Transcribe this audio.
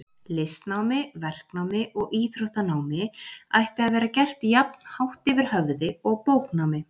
Listnámi, verknámi og íþróttanámi ætti að vera gert jafn hátt yfir höfði og bóknámi.